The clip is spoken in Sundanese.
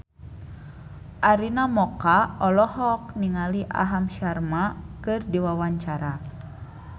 Arina Mocca olohok ningali Aham Sharma keur diwawancara